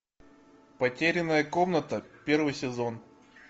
потерянная комната первый сезон